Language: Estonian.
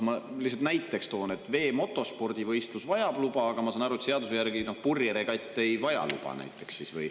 Ma lihtsalt toon näiteks, et veemotospordivõistlus vajab luba, aga ma saan aru, et seaduse järgi näiteks purjeregatt ei vaja luba.